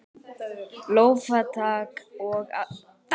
Lófatak og aðdáun.